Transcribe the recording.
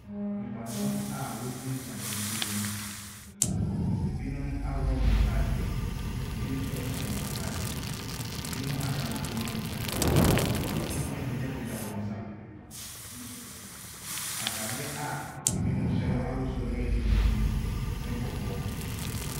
Nnipa dɔm a wɔgyina gyina nsuo mu, ebinom aworɔ ɔmo ntaadeɛ, ebi nso ɛhyɛ wɔn ntaadeɛ. Ebimo ada nsuo ne mu, ebimo apagyapagya wɔn nsa, ataadeɛ a ebimo hyɛ no ahosuo ɛyɛ tuntum ne kɔkɔɔ.